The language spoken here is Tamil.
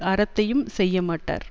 அறத்தையும் செய்ய மாட்டார்